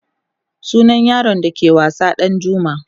sunan yaron da ke wasa Ɗanjuma